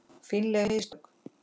Fínleg mistök.